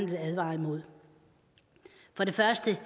vil advare imod for det første